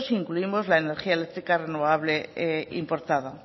si incluimos la energía eléctrica renovable importada